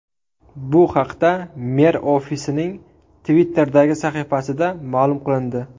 Bu haqda mer ofisining Twitter’dagi sahifasida ma’lum qilindi .